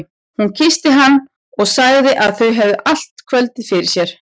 Hún kyssti hann og sagði að þau hefðu allt kvöldið fyrir sér.